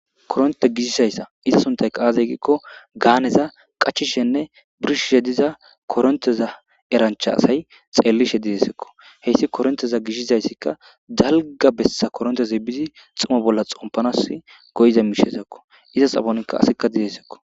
koronte gizayssa iza suntaykaaazeygikko gaaneza qachishenne birshishediza koronteza erancha asay xeellishe didesekko heyssi koronteza gishizayssikka dalga bessa koronteze bizi xuma bolla xompanas goyiza miishezakko izas afonkka asikka didesekko